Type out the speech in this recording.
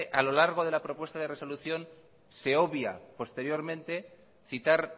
a lo largo de la propuesta de resolución se obvia posteriormente citar